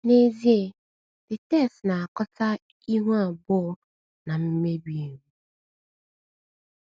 N’ezie, the text na - akatọ ihu abụọ na mmebi iwu.